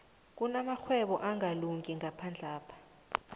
kunamarhwebo angakalungi ngaphandlapha